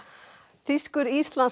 þýskur